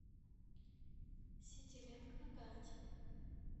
ситилинк на карте